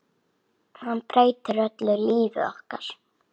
Hann breytir öllu lífi okkar.